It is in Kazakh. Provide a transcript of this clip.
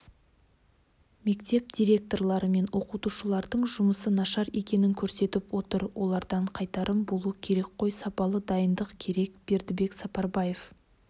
мектеп директорлары мен оқытушылардың жұмысы нашар екенін көрсетіп отыр олардан қайтарым болу керек қой сапалы дайындық керек бердібек сапарбаев